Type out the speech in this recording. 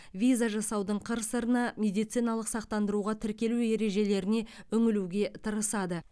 виза жасаудың қыр сырына медициналық сақтандыруға тіркелу ережелеріне үңілуге тырысады